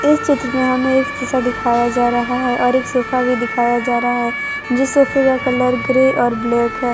इस चित्र में हमें एक शीशा दिखाया जा रहा है और एक सोफा भी दिखाया जा रहा है जिस सोफे का कलर ग्रे और ब्लैक है।